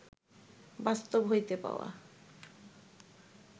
বাস্তব হইতে পাওয়া